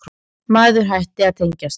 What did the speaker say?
Maður hætti að tengjast.